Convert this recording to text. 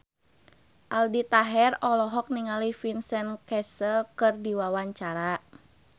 Aldi Taher olohok ningali Vincent Cassel keur diwawancara